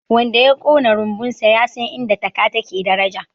wanda ya Kona rumbunsa ya san inda taka take daraja